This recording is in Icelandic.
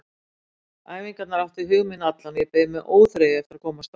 Æfingarnar áttu hug minn allan og ég beið með óþreyju eftir að komast á þær.